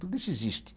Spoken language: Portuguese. Tudo isso existe.